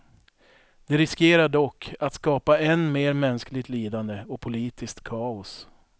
De riskerar dock att skapa än mer mänskligt lidande och politiskt kaos.